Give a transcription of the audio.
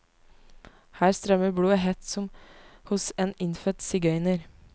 Her strømmer blodet hett som hos en innfødt sigøyner.